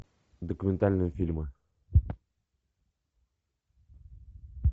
документальные фильмы